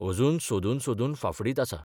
अजून सोदून सोदून फाफुडीत आसां...